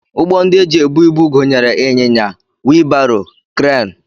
Ụgbọ ndị e ji ebu ibu gụnyere ịnyịnya, wii baro, kreenụ